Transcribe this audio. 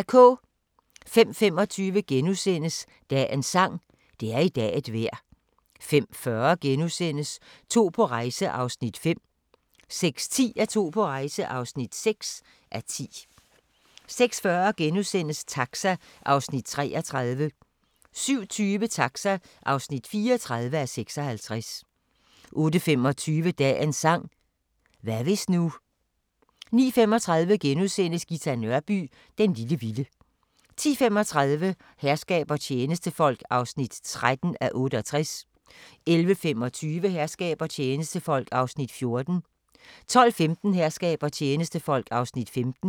05:25: Dagens sang: Det er i dag et vejr * 05:40: To på rejse (5:10)* 06:10: To på rejse (6:10) 06:40: Taxa (33:56)* 07:20: Taxa (34:56) 08:25: Dagens sang: Hvad hvis nu 09:35: Ghita Nørby "Den lille vilde" * 10:35: Herskab og tjenestefolk (13:68) 11:25: Herskab og tjenestefolk (14:68) 12:15: Herskab og tjenestefolk (15:68)